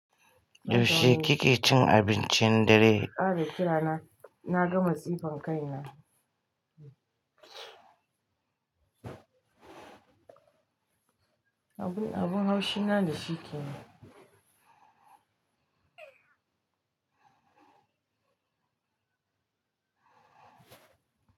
Yaushe kike cin abincin dare? Na kare kira na na ga matsifan kaina. Abin abun haushina da shi kenan.